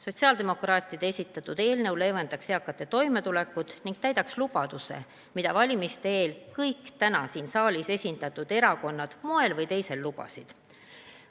Sotsiaaldemokraatide esitatud eelnõu leevendaks eakate toimetulekut ning täidaks lubaduse, mida valimiste eel kõik täna siin saalis esindatud erakonnad moel või teisel andsid.